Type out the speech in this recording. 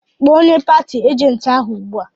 Kpọọ onye pati ajenti ahụ ugbu a!